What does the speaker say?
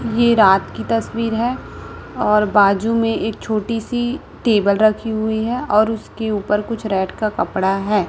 ये रात की तस्वीर है और बाजू मैं एक छोटी सी टेबल रखी हुवी है और उसके ऊपर कुछ रेड का कपड़ा है।